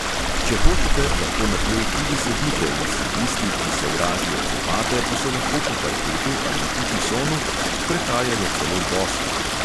Če hočete, lahko na tleh tudi sedite, vsi tisti, ki sovražijo copate, pa se lahko po parketu ali itisonu sprehajajo celo bosi.